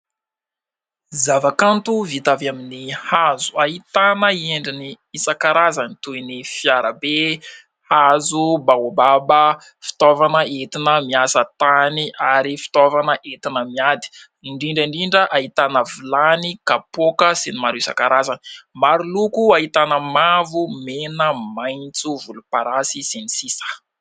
Zavakanto vita avy amin'ny hazo hahitana endriny isankarazany toy ny fiara be, hazo baobaba, fitaovana entina miasa tany ary fitaovana entina miady indrindra indrindra hahitana vilany, kapoaka sy ny maro isankarazany maro loko ahitana mavo, mena, maintso volomparasy...